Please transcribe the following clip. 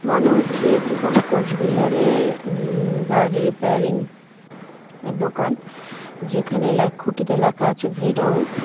মনে হচ্ছে এটি কোনো কোচবিহারের উম গাড়ি রিপেয়ারিং এর দোকান যেখানে লেখ খুঁটিতে লেখা আছে ভেডল ।